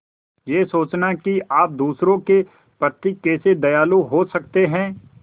यह सोचना कि आप दूसरों के प्रति कैसे दयालु हो सकते हैं